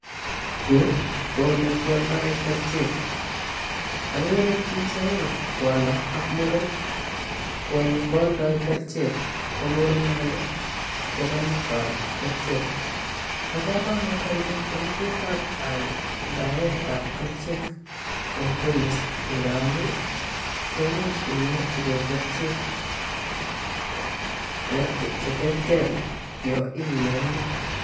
Yuu ko ole kioldo kerichek okere pichaik kwondo ak muren kwonyi kweondoo kerichek ko muren ko konyokwal kerichek bo komonut anyun boishet ab aidaet ab keriche en chemist ngamun kemuch inyorchi gee kerichek cheterter yon imionii.